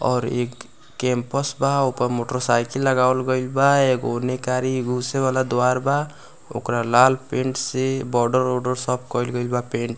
और एक कैंपस बा ऊपर मोटरसाइकिल लगावल गइल बा और एगो उने गाड़ी घुसे वाला द्वार बा ओकरा लाल पेंट से बॉर्डर - ओडर सब कइल बा पेंट --